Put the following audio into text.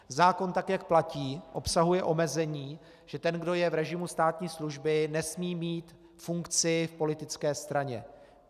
Zákon tak, jak platí, obsahuje omezení, že ten, kdo je v režimu státní služby, nesmí mít funkci v politické straně.